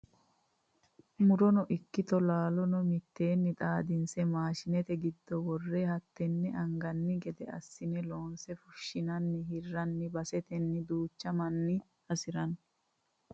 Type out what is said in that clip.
Murono ikkitto laalono miteni xaadinsi maashinete giddo wore hateni anganni gede assine loonse fushshine hiranni base tene duuchu manni hasirano.